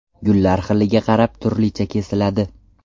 Gullar xiliga qarab turlicha kesiladi.